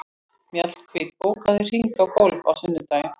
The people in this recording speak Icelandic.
Mjallhvít, bókaðu hring í golf á sunnudaginn.